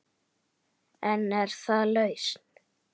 En er það lausn?